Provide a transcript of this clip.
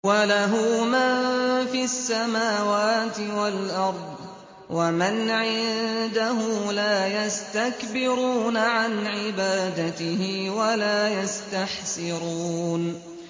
وَلَهُ مَن فِي السَّمَاوَاتِ وَالْأَرْضِ ۚ وَمَنْ عِندَهُ لَا يَسْتَكْبِرُونَ عَنْ عِبَادَتِهِ وَلَا يَسْتَحْسِرُونَ